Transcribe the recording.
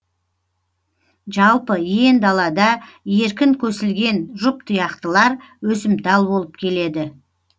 жалпы иен далада еркін көсілген жұптұяқтылар өсімтал болып келеді